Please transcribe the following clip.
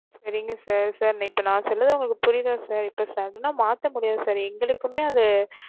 சரிங்க sir sir இப்ப நா சொன்னது ஒங்களுக்கு புரியணும் sir இப்ப sudden ன்னா மாத்த முடியாது sir எங்களுக்குமே அது